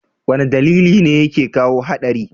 wane dalili ne yake kawo hadari?